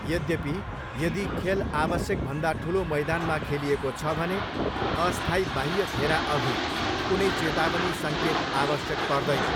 यद्यपि, यदि खेल आवश्यकभन्दा ठुलो मैदानमा खेलिएको छ भने, अस्थायी बाह्य घेराअघि कुनै चेतावनी सङ्केत आवश्यक पर्दैन।